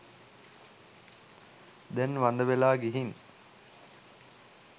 දැන් වඳ වෙලා ගිහින්